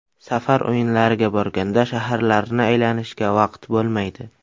Safar o‘yinlariga borganda shaharlarni aylanishga vaqt bo‘lmaydi.